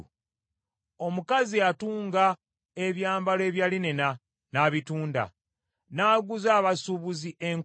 Omukazi atunga ebyambalo ebya linena n’abitunda, n’aguza abasuubuzi enkoba.